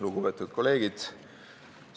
Lugupeetud kolleegid!